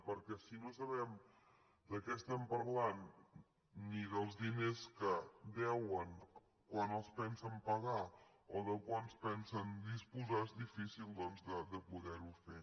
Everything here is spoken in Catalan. perquè si no sabem de què parlem ni dels diners que deuen quan els pensen pagar o de quants pensen disposar és difícil de poder ho fer